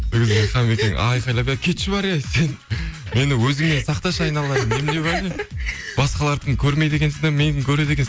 ол кезде хамекең айқалап әй кетші бар е сен мені өзіңе сақташы аналайын немене бәле басқалардікін көрмейді екенсің де менікін көреді екенсің